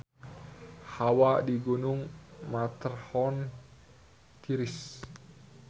Hawa di Gunung Matterhorn tiris